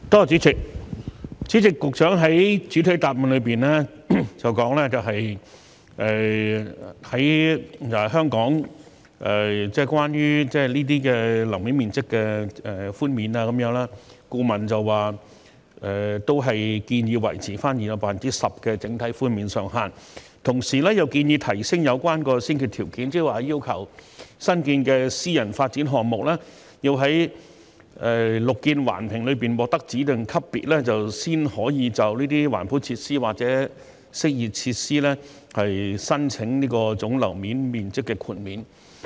主席，局長在主體答覆中表示，關於香港樓面面積的寬免，顧問建議維持現有的 10% 整體寬免上限，同時又建議提升有關的先決條件，即要求新建的私人發展項目要在綠建環評中獲得指定級別，才可以就這些環保設施或適意設施申請總樓面面積寬免。